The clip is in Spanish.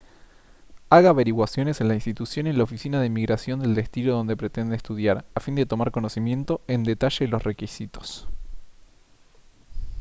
haga averiguaciones en la institución y en la oficina de inmigración del destino donde pretende estudiar a fin de tomar conocimiento en detalle los requisitos